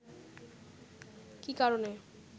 কী কারণে